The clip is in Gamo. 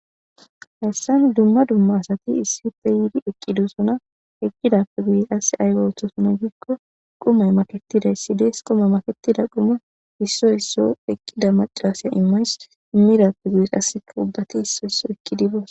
Hessan dumma dumma asati issi uppe wudi eqqi dussona eqqidappe guye as aygo oththosona giikko qumay makettidayssidees quma maketida quma issoy isso eqqida macalaasaya immays immidappe guyes assekka ubbati issoy isso ekki dibos.